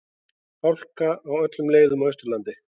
Hálka á öllum leiðum á Austurlandi